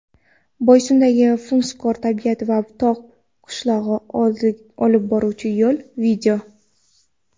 Boysundagi fusunkor tabiat va tog‘ qishlog‘iga olib boruvchi yo‘l.